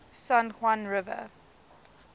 san juan river